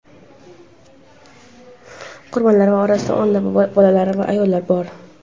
qurbonlar orasida o‘nlab bolalar va ayollar bor.